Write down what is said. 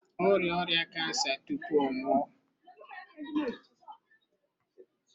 Ọ rịa ọrịa kansa tupu ọ nwụọ.